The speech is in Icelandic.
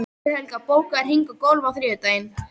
Sigurhelga, bókaðu hring í golf á þriðjudaginn.